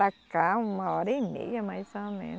Para cá uma hora e meia mais ou menos.